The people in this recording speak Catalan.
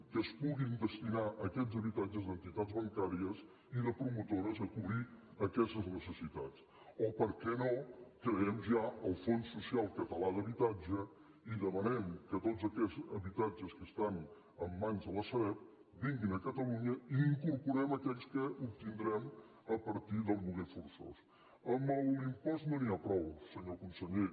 que es puguin destinar aquests habitatges d’entitats bancàries i de promotores a cobrir aquestes necessitats o per què no creem ja el fons social català d’habitatge i demanem que tots aquests habitatges que estan en mans de la sareb vinguin a catalunya i hi incorporem aquells que obtindrem a partir del lloguer forçós amb l’impost no n’hi ha prou senyor conseller